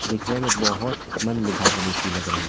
देखने में बहोत मन लुभावनी सी लग रही --